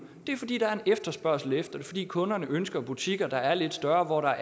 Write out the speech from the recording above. det er fordi der er efterspørgsel efter det fordi kunderne ønsker butikker der er lidt større